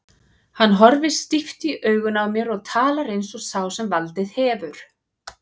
Hann horfir stíft í augun á mér og talar eins og sá sem valdið hefur.